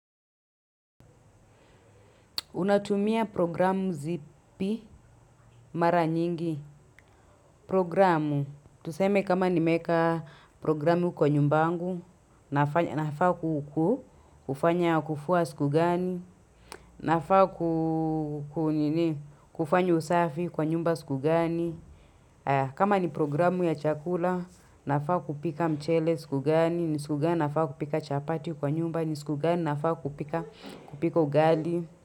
Unatumia programu zipi mara nyingi. Programu, tuseme kama nimeweka programu kwa nyumba yangu, nafaa kuku, kufanya kufua siku gani, nafaa kufanya usafi kwa nyumba sikugani. Kama ni programu ya chakula, nafaa kupika mchele sikugani, ni siku gani nafaa kupika chapati kwa nyumba, ni siku gani nafaa kupika ugali.